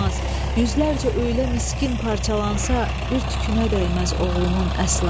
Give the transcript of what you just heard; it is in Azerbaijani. Yüzlərcə elə miskin parçalansa, bir tükünə dəyməz oğlumun əsla.